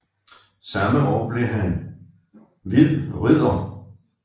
Samme år blev han hvid ridder